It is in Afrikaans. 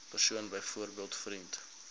persoon byvoorbeeld vriend